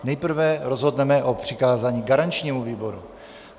Nejprve rozhodneme o přikázání garančnímu výboru.